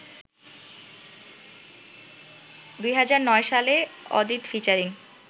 ২০০৯ সালে অদিত ফিচারিং